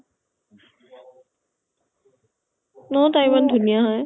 ন তাই ইমান ধুনীয়া হয়